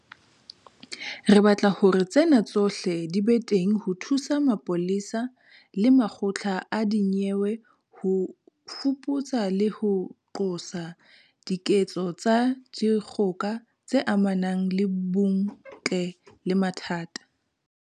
Re batla hore tsena tsohle di be teng ho thusa mapolesa le makgotla a dinyewe ho fuputsa le ho qosa diketso tsa dikgoka tse amanang le bong ntle le mathata.